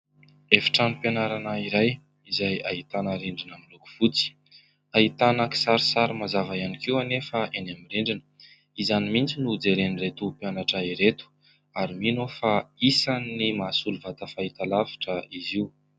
Efitranom-pianarana iray izay ahitana rindrina miloko fotsy, ahitana kisarisary mazava ihany koa anefa eny amin'ny endriny, izany mihitsy no jeren'ireto mpianatra ireto ary mino aho fa isany mahasolo vata fahita-lavitra izy io.